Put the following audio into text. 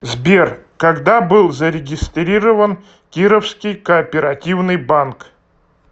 сбер когда был зарегистрирован кировский кооперативный банк